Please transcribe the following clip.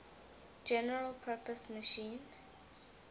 general purpose machine